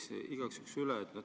Ma küsiks igaks juhuks üle.